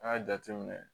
An y'a jateminɛ